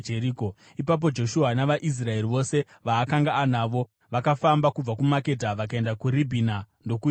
Ipapo Joshua navaIsraeri vose vaakanga anavo vakafamba kubva kuMakedha vakaenda kuRibhina ndokuirwisa.